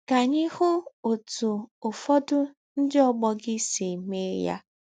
Ka anyị hụ ọtụ ụfọdụ ndị ọgbọ gị si mee ya.